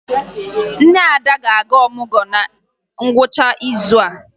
Nne Ada ga-aga ọmụgwọ na ngwụcha izu a